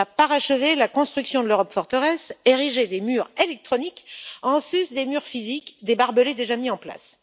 Il va parachever la construction de l'Europe forteresse, ériger des murs électroniques en sus des murs physiques et des barbelés déjà mis en place.